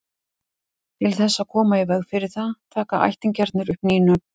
til þess að koma í veg fyrir það taka ættingjarnir upp ný nöfn